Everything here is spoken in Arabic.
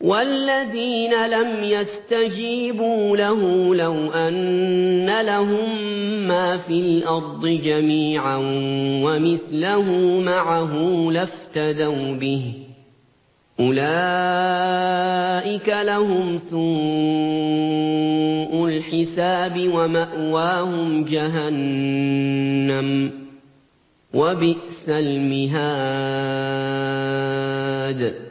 وَالَّذِينَ لَمْ يَسْتَجِيبُوا لَهُ لَوْ أَنَّ لَهُم مَّا فِي الْأَرْضِ جَمِيعًا وَمِثْلَهُ مَعَهُ لَافْتَدَوْا بِهِ ۚ أُولَٰئِكَ لَهُمْ سُوءُ الْحِسَابِ وَمَأْوَاهُمْ جَهَنَّمُ ۖ وَبِئْسَ الْمِهَادُ